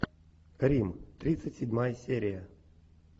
рим тридцать седьмая серия